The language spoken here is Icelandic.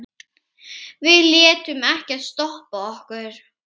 Við létum ekkert stoppa okkur.